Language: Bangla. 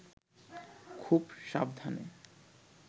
খুব সাবধানে